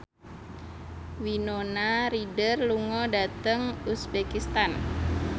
Winona Ryder lunga dhateng uzbekistan